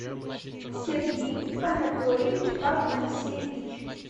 сергей анатольевич панасевич